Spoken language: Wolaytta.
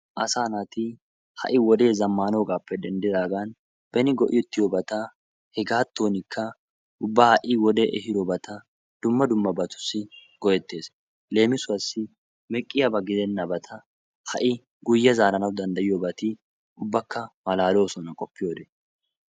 Asaa naati ha7i wodee zammaanoogaappe denddidaagan beni go7ettiyobata hegaattuwanikka ubba ha7i wodee ehiyoobata dumma dummabatussi go7ettes. Leemisuwassi meqqiyabata gidennabata ha7i guyye zaaranawu danddayiyoobati ubbakka malaaloosona qoppiyode.